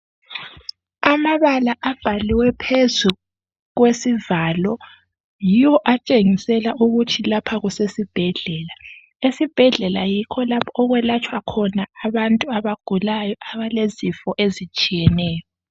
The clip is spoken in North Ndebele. Amabala abhaliwe phezu kwesivalo yiwo atshengisela ukuthi lapha kusesibhedlela, esibhedlela yikho okwelatshwa khona abantu abagulayo abalezifo ezitshiyeneyo.